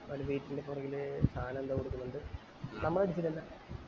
അവൻറെ വീട്ടിൻറെ പിറകില് സാനം എന്തോ കൊടുക്കുന്നുണ്ട് നമ്മൾ അടിച്ചില്ലല്ലോ